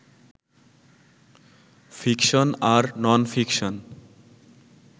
fiction আর non-fiction